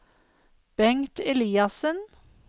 Bengt Eliassen